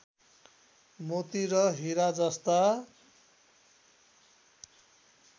मोती र हिरा जस्ता